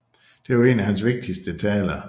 Det var en af hans vigtigste taler